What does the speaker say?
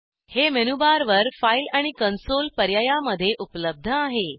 हे मेनूबार वर फाईल आणि कंसोल पर्यायामध्ये उपलब्ध आहे